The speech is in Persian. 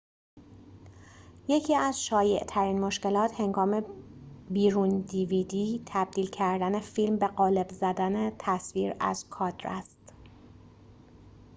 یکی از شایع‌ترین مشکلات هنگام تبدیل کردن فیلم به قالب dvd بیرون زدن تصویر از کادر است